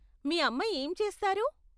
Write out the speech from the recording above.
మీ అమ్మ ఏం చేస్తారు?